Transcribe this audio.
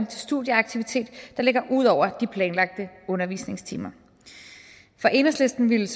til studieaktivitet der ligger ud over de planlagte undervisningstimer i enhedslisten ville